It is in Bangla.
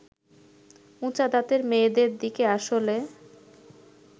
উঁচা দাঁতের মেয়েদের দিকে আসলে